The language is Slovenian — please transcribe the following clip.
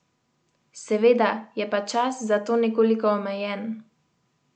Seveda, je pa čas za to nekoliko omejen.